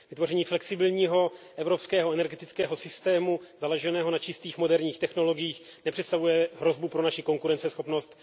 Vytvoření flexibilního evropského energetického systému založeného na čistých moderních technologiích nepředstavuje hrozbu pro naši konkurenceschopnost.